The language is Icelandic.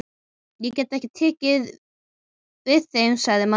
Ég get ekki tekið við þeim, sagði Marteinn.